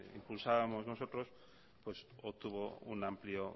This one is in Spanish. impulsábamos nosotros pues obtuvo un amplio